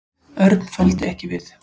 Örn þoldi ekki við.